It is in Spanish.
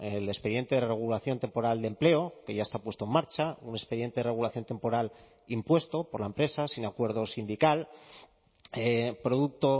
el expediente de regulación temporal de empleo que ya está puesto en marcha un expediente de regulación temporal impuesto por la empresa sin acuerdo sindical producto